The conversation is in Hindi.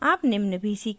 आप निम्न भी सीखेंगे